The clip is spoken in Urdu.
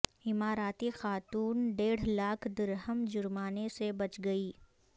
اماراتی خاتون ڈیڑھ لاکھ درہم جرمانے سے بچ گئی